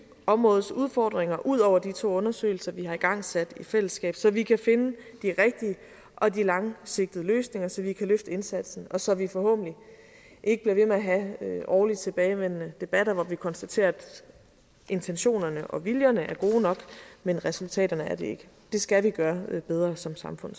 områdets udfordringer udover de to undersøgelser vi har igangsat i fællesskab så vi kan finde de rigtige og de langsigtede løsninger så vi kan løfte indsatsen og så vi forhåbentlig ikke bliver ved med at have årligt tilbagevendende debatter hvor vi konstaterer at intentionerne og viljerne er gode nok men resultaterne er det ikke det skal vi gøre bedre som samfund